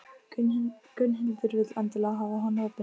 Gunnhildur vill endilega hafa hann opinn.